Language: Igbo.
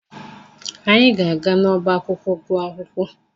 Anyị ga-aga n'ọba akwụkwọ gụọ akwụkwọ.